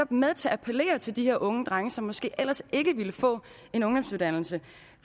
med til at appellere til de unge drenge som måske ellers ikke ville få en ungdomsuddannelse